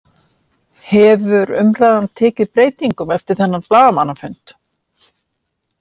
Hefur umræðan tekið breytingum eftir þennan blaðamannafund?